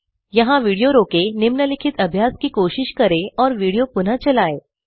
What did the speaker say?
यहाँ विडियो रोकें निम्नलिखित अभ्यास की कोशिश करें और विडियो पुनः चलाएं